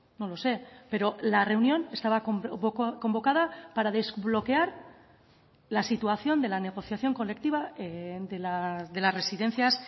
no lo sé pero la reunión estaba convocada para desbloquear la situación de la negociación colectiva de las residencias